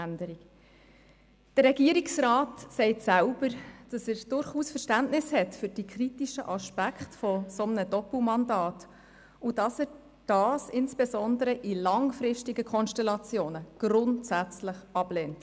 Der Regierungsrat sagt selbst, dass er für die kritische Sicht auf ein solches Doppelmandat durchaus Verständnis habe und dieses insbesondere in langfristigen Situationen grundsätzlich ablehne.